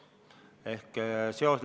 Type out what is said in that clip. Seos on siin tulumaksuseadusega.